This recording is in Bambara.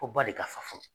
Ko ba de ka fa